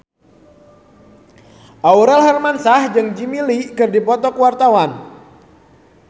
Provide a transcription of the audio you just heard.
Aurel Hermansyah jeung Jimmy Lin keur dipoto ku wartawan